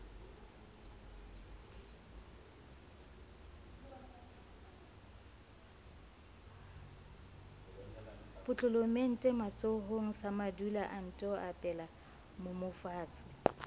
potlolomente matsohonga samadula anto epelamoomofatshe